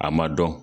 A ma dɔn